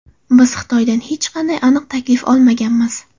Biz Xitoydan hech qanday aniq taklif olmaganmiz.